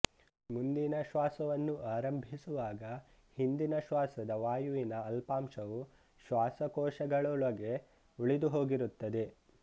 ಮುಂದಿನ ಶ್ವಾಸವನ್ನು ಆರಂಭಿಸುವಾಗ ಹಿಂದಿನ ಶ್ವಾಸದ ವಾಯುವಿನ ಅಲ್ಪಾಂಶವು ಶ್ವಾಸಕೋಶಗಳೊಳಗೇ ಉಳಿದುಹೋಗಿರುತ್ತದೆ